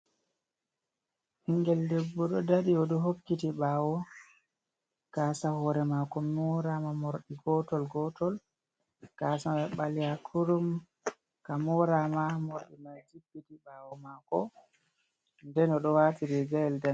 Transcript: Ɓingel debbo ɗo dari, o ɗo hokkiti ɓaawo. Gaasa hore maako morama, morɗi gotol-gotol. Gaasa mai ɓaleha kurum, ka morama morɗi mai jibbiti ɓaawo maako, nden o ɗo waati riigayel danee.